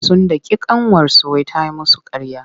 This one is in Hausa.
Sun daki ƙanwarsu wai ta yi musu ƙarya.